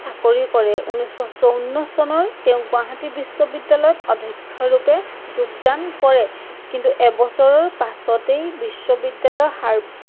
চাকৰি কৰে। উনৈচশ চৌৱন্ন চনৰ তেঁওক গুৱাহাটী বিশ্ৱবিদ্যালয়ত অধক্ষ্যৰুপে যোগদান কৰে। কিন্তু এবছৰৰ পাছতেই বিশ্ৱবিদ্যালয়